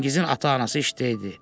Çingizin ata-anası işdə idi.